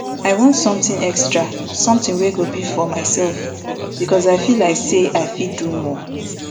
i want somtin extra somtin wey go be for myself becos i feel like say i fit do more